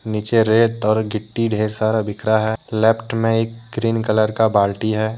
नीचे रेत और गिट्टी ढेर सारा बिखरा है लेफ्ट में एक ग्रीन कलर का बाल्टी है।